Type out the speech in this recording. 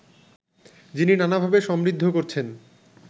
যিনি নানাভাবে সমৃদ্ধ করছেন